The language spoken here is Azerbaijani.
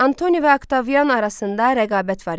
Antoni və Oktavian arasında rəqabət var idi.